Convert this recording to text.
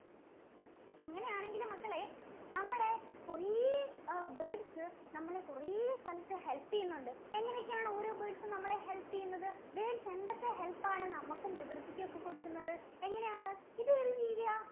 അങ്ങനെ ആണെങ്കിൽ മക്കളെ നമ്മളെ കുറെ birds നമ്മളെ കുറെ സ്ഥലത്തു help ചെയ്യുന്നുണ്ട്. എങ്ങനെ ഒക്കെയാണ് ഓരോ birds ഉം നമ്മളെ help ചെയ്യുന്നത്? Birds എന്തൊക്കെ help ആണ് നമ്മക്കും പ്രകൃതിക്കും ഒക്കെ കൊടുക്കുന്നത്? എങ്ങനെയാണ്? ഇത് ഏതു ജീവിയാ?